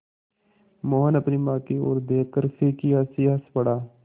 मोहन अपनी माँ की ओर देखकर फीकी हँसी हँस पड़ा